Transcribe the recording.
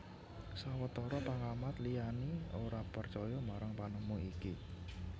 Sawetara pengamat liyani ora percaya marang panemu iki